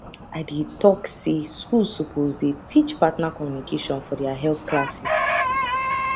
i dey talk say schools suppose dey teach partner communication for their health classes